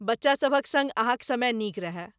बच्चासभक सङ्ग अहाँक समय नीक रहए।